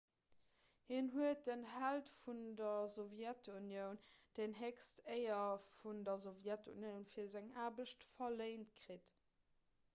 hien huet den held vun der sowjetunioun déi héchst éier vun der sowjetunioun fir seng aarbecht verléint kritt